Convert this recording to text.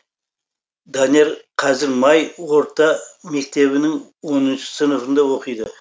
данияр қазір май орта мектебінің оныншы сыныбында оқиды